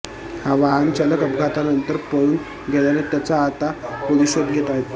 हा वाहनचालक अपघातानंतर पळून गेल्याने त्याचा आता पोलीस शोध घेत आहेत